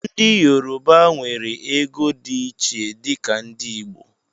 Ndị yorọba nwere ego dị iche dika ndị Igbo